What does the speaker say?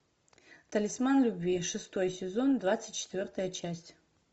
талисман любви шестой сезон двадцать четвертая часть